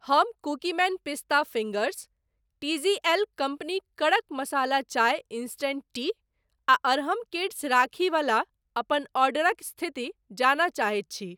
हम Cookieman pista fingers, T G L company kadak masala chai instant tea आ Arham kids rakhi बला अपन ऑर्डरक स्थिति जानय चाहैत छी।